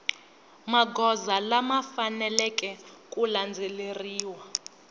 magoza lama faneleke ku landzeleriwa